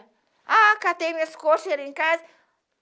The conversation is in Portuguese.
Ah, catei minhas coxas, cheguei lá em casa.